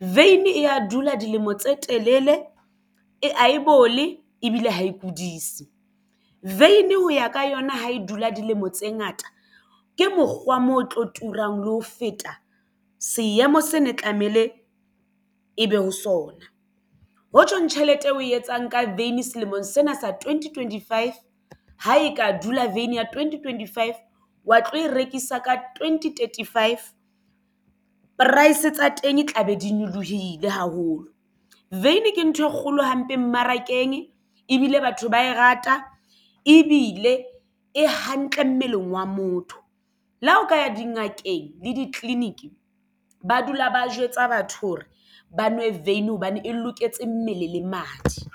Vein e a dula dilemo tse telele e a e bole ebile ha e kudise vein ho ya ka yona ha e dula dilemo tse ngata ke mokgwa moo e tlo turang le ho feta seemo se ne tlamehile ebe ho sona ho tjhong tjhelete eo oe etsang ka veini selemong sena sa twenty twenty five ha e ka dula veini ya twenty twenty five wa tlo e rekisa ka twenty thirty five price tsa teng e tla be di nyolohile haholo veini ke ntho e kgolo hampe mmarakeng ebile batho ba e rata ebile e hantle mmeleng wa motho. Le ha o ka ya dingakeng le ditleliniki ba dula ba jwetsa batho hore ba nwe veini hobane e loketse mmele le madi.